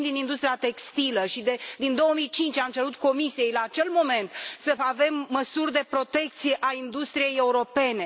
Provin din industria textilă și, din 2005, am cerut Comisiei, la acel moment, să avem măsuri de protecție a industriei europene.